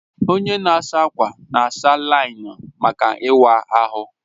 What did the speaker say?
Onye na-asa ákwà na-asa láị́nín maka ịwa ahụ